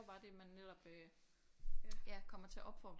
Bare det man netop øh ja kommer til at opfordre